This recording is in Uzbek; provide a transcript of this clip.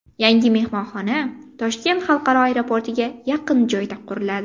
Yangi mehmonxona Toshkent xalqaro aeroportiga yaqin joyda quriladi.